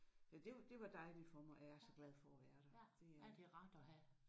Det var det var dejligt for mig og jeg er så glad for at være der. Det er